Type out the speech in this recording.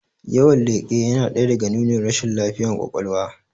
Yawan leƙe yana ɗaya daga nunin rashin lafiyan kwakwalwa